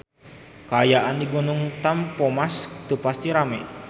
Kaayaan di Gunung Tampomas teu pati rame